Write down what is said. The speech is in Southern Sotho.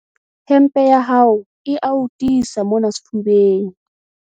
Hempe ya hao e a o tiisa mona sefubeng.